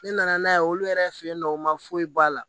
Ne nana n'a ye olu yɛrɛ fɛ yen nɔ u ma foyi bɔ a la